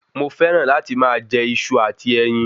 Mo fẹràn láti máa jẹ Iṣu àti ẹyin